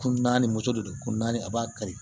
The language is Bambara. Kun naani moto de don ko naani a b'a kari